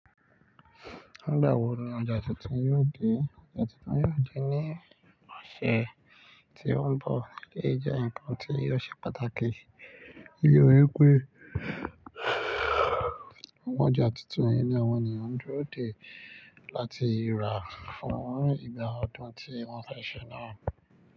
Nígbà wo ni ọjà tuntun yóò dé? Ọjà tuntun yóò dé ní ọ̀sẹ̀ tí ó ń bọ̀, lè jẹ́ nǹkan tí yóò ṣe pàtàkì. Nítori pé, àwọn ọjà tuntun ní àwọn ènìyàn ó dúró dè láti rà fún ìgbà ọdún tí wọ́n fẹ́ ṣe náà.